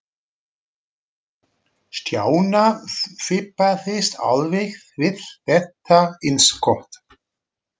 Stjána fipaðist alveg við þetta innskot.